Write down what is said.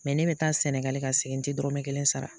ne bɛ taa Sɛnɛga ka segin n tɛ dɔrɔmɛ kelen sara.